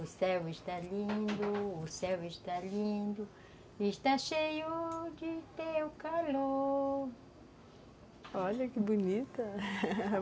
O céu está lindo, o céu está lindo... Está cheio de teu calor... Olha, que bonita!